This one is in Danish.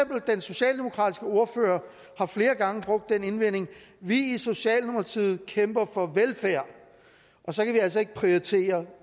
den socialdemokratiske ordfører flere gange brugt den indvending vi i socialdemokratiet kæmper for velfærd og så kan vi altså ikke prioritere